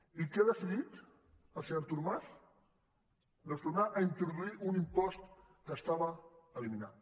i què ha decidit el senyor artur mas doncs tornar a introduir un impost que estava eliminat